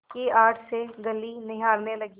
की आड़ से गली निहारने लगी